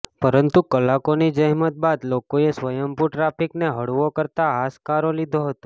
પરંતુ કલાકોની જહેમત બાદ લોકોએ સ્વયંભુ ટ્રાફિકને હળવો કરતાં હાશકારો લીધો હતો